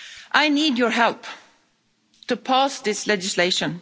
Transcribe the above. I need your help to pass this legislation.